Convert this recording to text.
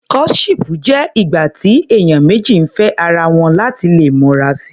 Courtship jẹ́ ìgbà tí ènìyàn méjì ń fẹ́ ara wọn láti lè mọra si.